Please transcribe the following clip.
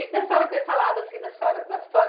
E da senhora ter falado assim da senhora, da história